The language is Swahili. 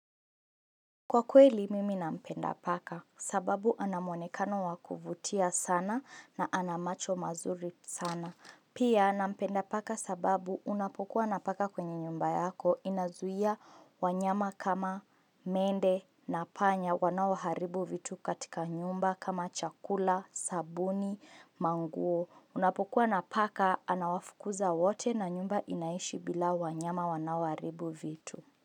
Kwa kweli mimi nampenda paka sababu anamonekano wakuvutia sana na anamacho mazuri sana. Pia nampenda paka sababu unapokuwa na paka kwenye nyumba yako inazuia wanyama kama mende na panya wanao haribu vitu katika nyumba kama chakula, sabuni, manguo. Unapokuwa na paka anawafukuza wote na nyumba inaishi bila wanyama wanaoaribu vitu.